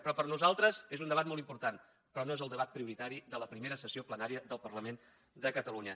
però per nosaltres és un debat molt important però no és el debat prioritari de la primera sessió plenària del parlament de catalunya